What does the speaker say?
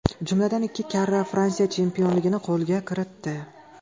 Jumladan, ikki karra Fransiya chempionligini qo‘lga kiritdi.